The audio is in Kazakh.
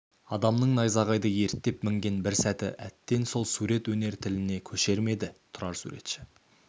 адамның найзағайды ерттеп мінген бір сәті әттең сол сурет өнер тіліне көшер ме еді тұрар суретші